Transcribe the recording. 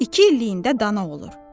İki illiyində dana olur.